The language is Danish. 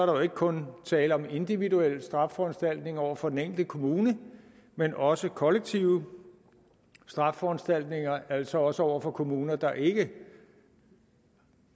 jo ikke kun tale om individuelle straffeforanstaltninger over for den enkelte kommune men også kollektive straffeforanstaltninger altså også over for kommuner der ikke